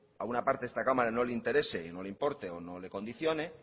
a una parte de esta cámara no le interese no le importe o no le condicione